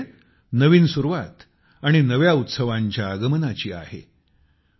आणि ही वेळ नवीन सुरुवात आणि नव्या उत्सवांच्या आगमनाची आहे